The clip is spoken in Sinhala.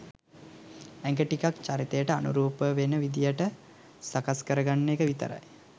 ඇඟ ටිකක් චරිතයට අනුරූපවෙන විදිහට සකස් කරගන්න එක විතරයි